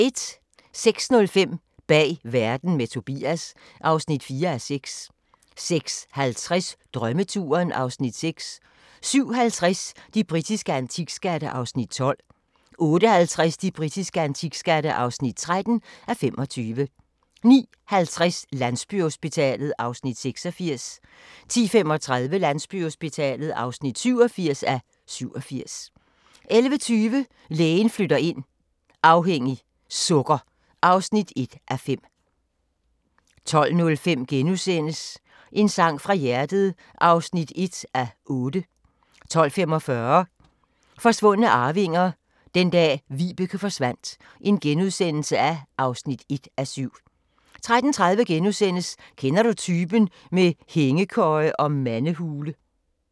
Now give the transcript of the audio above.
06:05: Bag verden – med Tobias (4:6) 06:50: Drømmeturen (Afs. 6) 07:50: De britiske antikskatte (12:25) 08:50: De britiske antikskatte (13:25) 09:50: Landsbyhospitalet (86:87) 10:35: Landsbyhospitalet (87:87) 11:20: Lægen flytter ind - afhængig - sukker (1:5) 12:05: En sang fra hjertet (1:8)* 12:45: Forsvundne arvinger: Den dag Vibeke forsvandt (1:7)* 13:30: Kender du typen? - med hængekøje og mandehule *